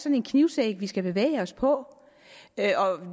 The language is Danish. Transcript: en knivsæg vi skal bevæge os på